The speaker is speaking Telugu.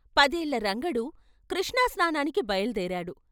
పదేళ్ళ రంగడు కృష్ణా స్నానానికి బయలుదేరాడు.